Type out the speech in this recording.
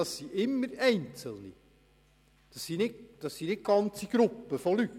Dabei handelt es sich immer um einzelne Leute und nicht um Gruppen.